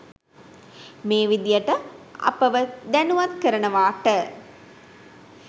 මේ විදිහට අපව දැනුවත් කරනවාට